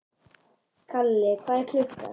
Kali, hvað er klukkan?